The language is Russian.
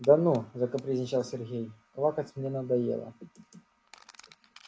да ну закапризничал сергей квакать мне надоело